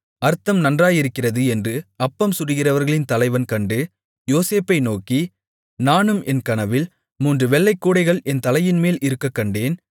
அர்த்தம் நன்றாயிருக்கிறது என்று அப்பம் சுடுகிறவர்களின் தலைவன் கண்டு யோசேப்பை நோக்கி நானும் என் கனவில் மூன்று வெள்ளைக் கூடைகள் என் தலையின்மேல் இருக்கக்கண்டேன்